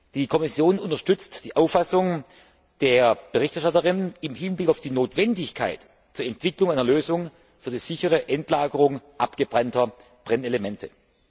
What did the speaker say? Die Kommission unterstützt die Auffassung der Berichterstatterin im Hinblick auf die Notwendigkeit der Entwicklung einer Lösung für die sichere Endlagerung abgebrannter Brennelemente.